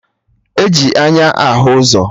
E ji anya ahụ ụzọ